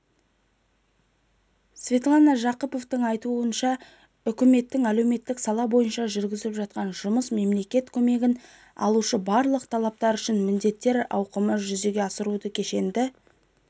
светлана жақыпованың айтуынша үкіметтің әлеуметтік сала бойынша жүргізіп жатқан жұмысы мемлекет көмегін алушы барлық тараптар үшін міндеттер ауқымын жүзеге асыруда кешенді